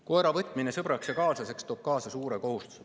Koera võtmine sõbraks ja kaaslaseks toob kaasa suure kohustuse.